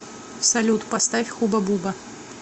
салют поставь хубабуба